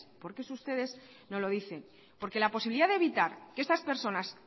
porque eso ustedes no lo dicen porque la posibilidad de evitar que estas personas